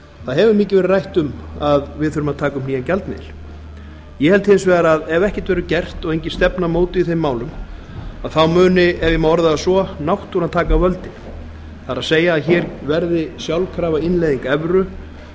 það hefur mikið verið rætt um að við þurfum að taka upp nýjan gjaldmiðil ég held hins vegar að ef ekkert verður gert og engin stefna mótuð í þeim málum þá muni ef ég má orða það svo náttúran taka völdin það er að hér verði sjálfkrafa innleiðing